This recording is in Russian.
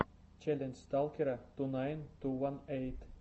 челлендж сталкера ту найн ту уан эйт